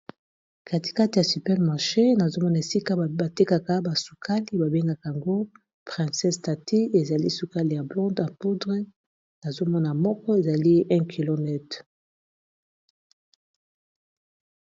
katikate ya supermaket nazomona esika batekaka basukali babengaka yango princes tati ezali sukali .